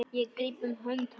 Ég gríp um hönd hans.